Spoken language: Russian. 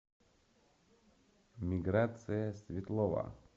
миграция светлова